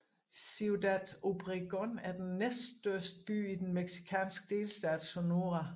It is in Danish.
Ciudad Obregón er den næststørste by i den mexikanske delstat Sonora